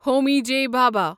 Homi J Bhabha